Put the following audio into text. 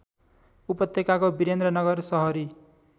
उपत्यकाको वीरेन्द्रनगर सहरी